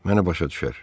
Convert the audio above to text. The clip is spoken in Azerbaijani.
Məni başa düşər.